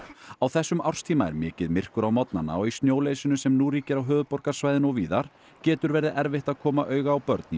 á þessum árstíma er mikið myrkur á morgnana og í snjóleysinu sem nú ríkir á höfuðborgarsvæðinu og víðar getur verið erfitt að koma auga á börn í